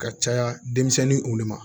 Ka caya denmisɛnninw de ma